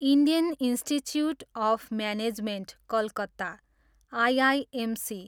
Indian Institute of Management Calcutta, IIMC